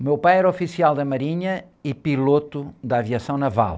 O meu pai era oficial da marinha e piloto da aviação naval.